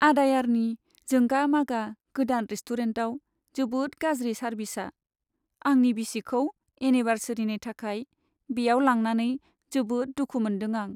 आडायारनि जोंगा मागा गोदान रेस्टुरेन्टाव जोबोद गाज्रि सारभिसआ, आंनि बिसिखौ एनिभार्सारिनि थाखाय बेयाव लांनानै जोबोद दुखु मोनदों आं।